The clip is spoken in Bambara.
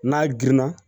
N'a girinna